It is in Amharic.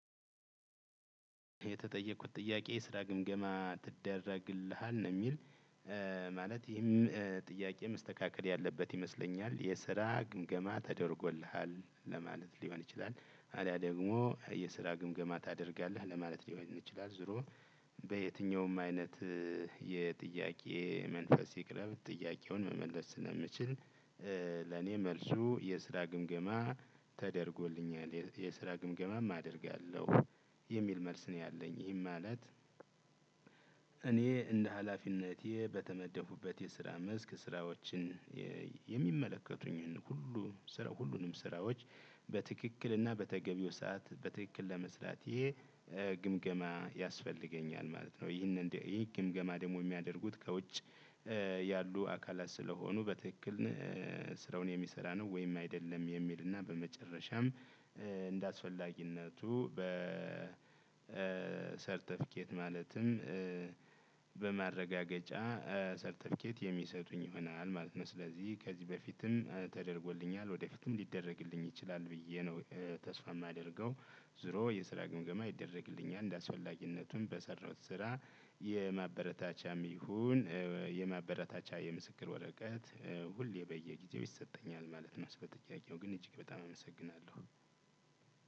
የተጠየቁት ጥያቄ የስራ ግምገማ ትደረግልሃል ነው የሚል። ማለት ይህም ጥያቄ መስተካከል ያለበት ይመስለኛል የስራ ግምገማ ተደርጎልሃል ለማለት ሊሆን ይችላል። አሊያ ደግሞ የስራ ግምገማ ታደርጋለህ ለማለት ሊሆን ይችላል ዞሮ በየትኛውም አይነት የጥያቄ መንፈስ ይቅረብ ጥያቄውን መመለስ ስለምችል። ለኔ መልሱ የስራ ግምገማ ተደርጎልኛል የስራ ግምገማም አደርጋለሁ የሚል መልስ ነው ያለኝ ይህም ማለት። እኔ እንደ ሀላፊነቴ በተመደብኩበት የስራ መስክ ስራዎችን የሚመለከቱኝን ሁሉ ስራ ሁሉንም ስራዎች በትክክል እና በተገቢው ሰዓት በትክክል ለመስራቴ ግምገማ ያስፈልገኛል ማለት ነው። ይሄንን ይህ ግምገማ ደግሞ የሚያደርጉት ከውጭ ያሉ አካላት ስለሆኑ በትክክል ስራውን የሚሰራ ነው። ወይም አይደለም የሚልና በመጨረሻም እንደ አስፈላጊነቱ በ ሰርተፍኬት ማለትም በማረጋገጫ ሰርተፍኬት የሚሰጡኝ ይሆናል ማለት ነው። ስለዚህ ከዚህ በፊትም ተደርጎልኛል ወደፊትም ሊደረግልኝ ይችላል ብዬ ነው ተስፋ የማደርገው። ዞሮ የስራ ግምገማ ይደረግልኛል እንደ አስፈላጊነቱም በሰራሁት ስራ የማበረታቻም ይሁን የማበረታቻ የምስክር ወረቀት ሁሌ በየጊዜው ይሰጠኛል ማለት ነው። ስለጥያቄው ግን እጅግ በጣም አመሰግናለሁ።